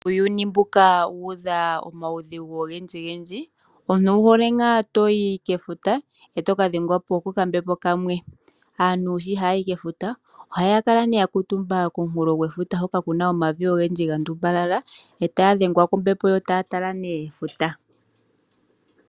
Uuyuni mbuka wuudha omaudhigu ogendji gendji , omuntu owu hole ngaa toyi kefuta eto kadhengwa po kokambepo kamwe. Aantu shi haya yi kefuta ohaya kala nee yakamutumba komunkulo gefuta hoka kuna omavi ogendji gandumbalala etaya dhengwa kombepo yo taya tala nee efuta.